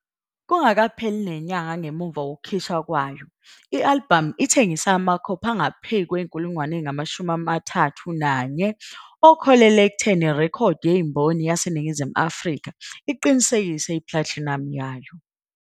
Kungakapheli nenyanga ngemuva kokukhishwa kwayo, i-albhamu ithengise amakhophi angaphezu kwama-31,000 okuholele ekutheni iRekhoda Yezimboni yaseNingizimu Afrika iqinisekise iplatinamu yayo.